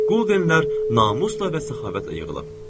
Quldenlər namusla və səxavətlə yığılıb.